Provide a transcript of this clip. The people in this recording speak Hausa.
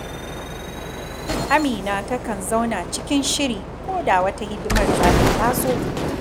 Amina takan zama cikin shiri ko da wata hidimar zata taso